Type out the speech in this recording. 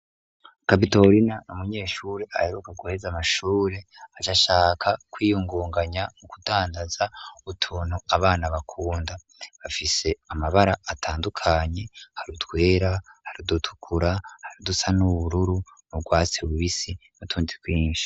Kapitorina n'umunyeshuri aheruka guheza amashuri aca ashaka kwiyungunganya mu kudandaza utuntu abana bakunda, bafise amabara atandukanye hari utwera, hari udutukura, hari udusa n'ubururu nurwatse rubisi n'utundi twinshi.